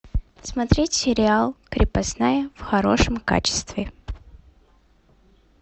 смотреть сериал крепостная в хорошем качестве